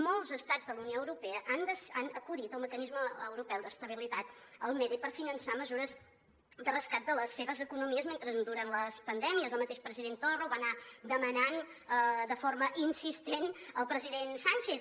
molts estats de la unió europea han acudit al mecanisme europeu d’estabilització el mede per finançar mesures de rescat de les seves economies mentre duren les pandèmies el mateix president torra ho va anar demanant de forma insistent al president sánchez